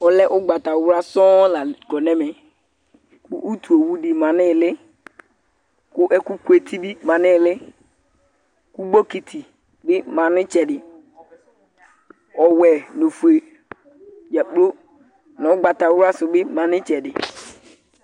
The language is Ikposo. Ɔlɛ ʋgbatawla sɔŋ la kɔ nʋ ɛmɛ kʋ utuowu dɩ ma nʋ ɩɩlɩ kʋ ɛkʋkʋeti bɩ ma nʋ ɩɩlɩ kʋ bokiti bɩ ma nʋ ɩtsɛdɩ, ɔwɛ nʋ ofue dza kplo nʋ ʋgbatawla sʋ bɩ ma nʋ ɩtsɛdɩ